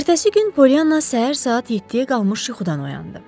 Ertəsi gün Pollyanna səhər saat 7-yə qalmış yuxudan oyandı.